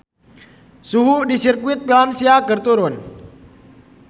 Suhu di Sirkuit Valencia keur turun